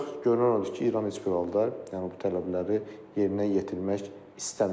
Ancaq görünən odur ki, İran heç bir halda, yəni bu tələbləri yerinə yetirmək istəmir.